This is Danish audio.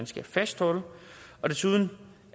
skal fastholdes desuden